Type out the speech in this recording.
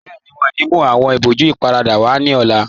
Bẹẹni, wọn ní mú awọn ìbòjú ìparada wa ní ọ̀la